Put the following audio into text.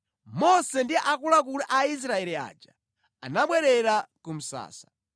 Mose ndi akuluakulu a Israeli aja anabwerera ku msasa.